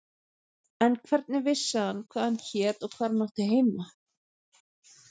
En hvernig vissi hann hvað hann hét og hvar hann átti heima?